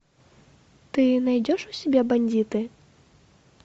ты найдешь у себя бандиты